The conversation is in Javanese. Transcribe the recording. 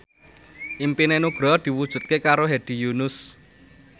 impine Nugroho diwujudke karo Hedi Yunus